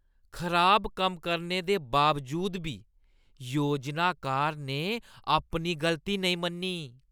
खराब कम्म करने दे बावजूद बी योजनाकार ने अपनी गलती नेईं मन्नी।